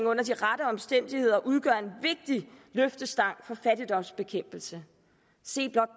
under de rette omstændigheder udgør en vigtig løftestang for fattigdomsbekæmpelse se blot